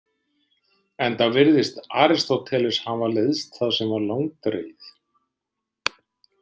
Enda virðist Aristóteles hafa leiðst það sem var langdregið.